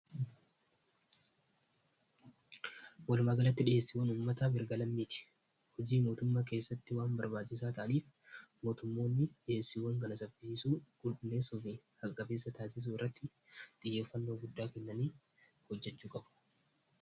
walumagalatti dhiheessiiwwan ummata bergala miiti hojii mootumma keessatti waan barbaajisaa taaliif mootummoonni dhiheessiiwwan galasaffiisu gudneessuu fi hagafeessa taasisuu irratti xiyyeeffannoo guddaa kennanii hojjachuu qabu